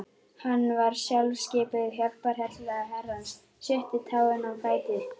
Hann var sjálfskipuð hjálparhella Herrans, sjötta táin á fæti